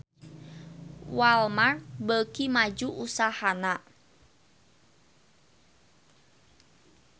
Walmart beuki maju usahana